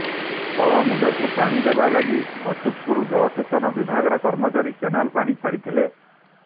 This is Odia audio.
ତଳ ମୁଣ୍ଡକୁ ପାଣି ଦେବା ଲାଗି ଅଛୁତପୁର ଜଳସେଚନ ବିଭାଗର କର୍ମଚାରୀ କେନାଲରେ ପାଣି ଛାଡିଥିଲେ